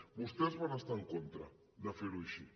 vostès van estar hi en contra de fer ho així